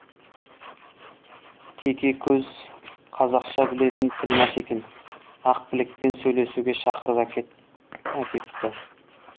теке көз қазақша білетін тілмаш екен ақбілекпен сөйлесуге шақырып әкетті